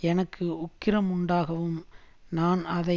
எனக்கு உக்கிரமுண்டாகவும் நான் அதை